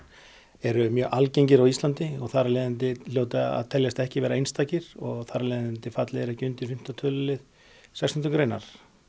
eru mjög algengir á Íslandi og þar af leiðandi hljóta að teljast ekki einstakir og þar af leiðandi falli þeir ekki undir fimmta tölulið sextánda greinar